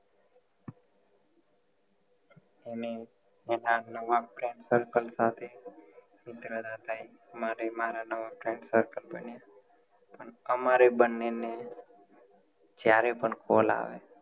એમે એના નવા friends circle સાથે મિત્રતા થાય માટે મારા નવા friend circle બન્યા પણ અમારે બંને ને જ્યારે પણ call આવે